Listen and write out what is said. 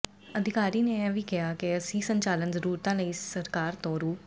ਅਧਿਕਾਰੀ ਨੇ ਇਹ ਵੀ ਕਿਹਾ ਕਿ ਅਸੀਂ ਸੰਚਾਲਨ ਜਰੂਰਤਾਂ ਲਈ ਸਰਕਾਰ ਤੋਂ ਰੁ